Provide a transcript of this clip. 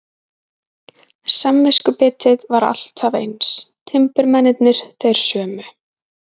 Samviskubitið var alltaf eins, timburmennirnir þeir sömu.